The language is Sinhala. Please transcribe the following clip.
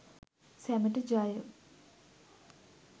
සැමට ජය!